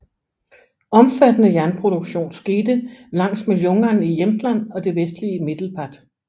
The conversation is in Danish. Omfattende jernproduktion skete langs med Ljungan i Jämtland og det vestlige Medelpad